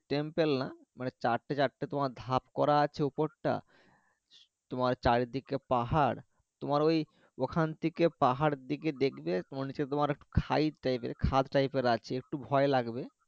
temple না মানে চারটে চারটে তোমার ভাগ করা আছে উপর টা তোমার চারিদিকে পাহাড় তোমার ওই ওখান থেকে পাহাড়ের দিকে দেখবে তোমার নিচে তোমার টাইপের খাদ টাইপের আছে একটু ভয় লাগবে